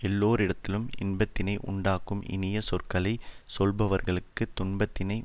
எல்லோரிடத்திலும் இன்பத்தினை உண்டாக்கும் இனிய சொற்களை சொல்லுபவர்களுக்குத் துன்பத்தினை